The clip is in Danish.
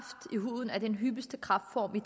om